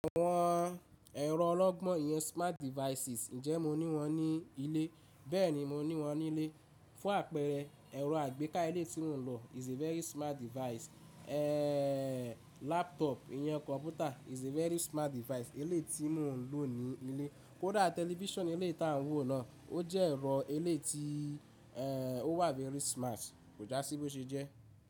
Àwọn ẹ̀rọ ọlọ́gbọ́n ìyẹn smart devices, ǹjẹ́ mo ní wọ́n ní ilé? Bẹ́ẹ̀ni, mo ní wọ́n ní ilé. Fún àpẹẹrẹ, ẹ̀rọ àgbéká ilé tí mò ń lò is a very smart device. Eeee, laptop, ìyẹn kọ̀npútà is a very smart device. Ilé tí mò ń lò ní ilé, kódà Television ilé tá ń wò náà, ó jẹ́ ẹ̀rọ ilé tí, ẹ́ẹ́, ó wà very smart kò já sí bó ṣe jẹ́